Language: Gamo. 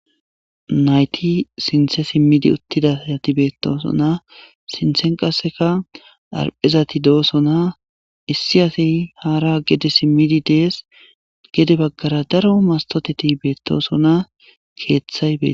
nayti sinthe simmidi uttidasati beettosona sinthen qasseka arphezati doosona issi asi haara gede simmidi dees gede baggara daro mastoteti beettosona keeththay beet